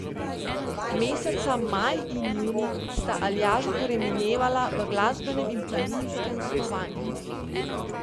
Meseca maj in junij sta Aljažu torej minevala v glasbenem in planinskem snovanju.